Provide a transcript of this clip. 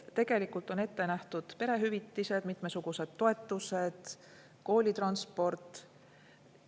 Tegelikult on ette nähtud perehüvitised, mitmesugused toetused, koolitransport.